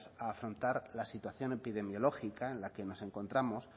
a afrontar la situación epidemiológica en la que nos encontramos